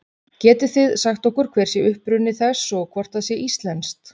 Getið þið sagt okkur hver sé uppruni þess og hvort það sé íslenskt?